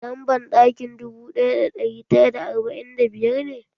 Lamban ɗakin dubu ɗaya da ɗari tara da arba'in da biyar ne?